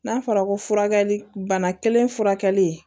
N'a fɔra ko furakɛli bana kelen furakɛli